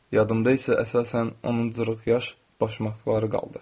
Yadımda isə əsasən onun cırıq yaş başmaqları qaldı.